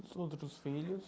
Os outros filhos.